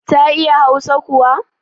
Ta iya hausa kuwa?